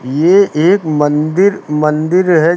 ये एक मंदिर मंदिर है।